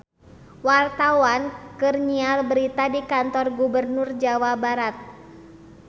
Wartawan keur nyiar berita di Kantor Gubernur Jawa Barat